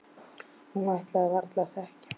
Hún ætlaði varla að þekkja hana.